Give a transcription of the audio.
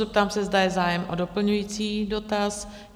Zeptám se, zda je zájem o doplňující dotaz?